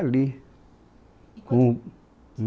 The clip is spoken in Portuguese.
o